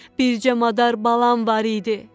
Bircə madar balam var idi.